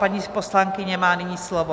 Paní poslankyně má nyní slovo.